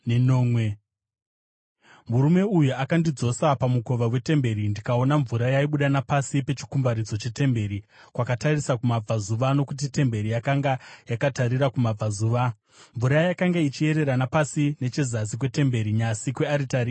Murume uyu akandidzosa pamukova wetemberi, ndikaona mvura yaibuda napasi pechikumbaridzo chetemberi kwakatarisa kumabvazuva, nokuti temberi yakanga yakatarira kumabvazuva. Mvura yakanga ichiyerera napasi nechezasi kwetemberi, nyasi kwearitari.